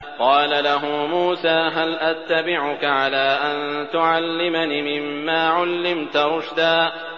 قَالَ لَهُ مُوسَىٰ هَلْ أَتَّبِعُكَ عَلَىٰ أَن تُعَلِّمَنِ مِمَّا عُلِّمْتَ رُشْدًا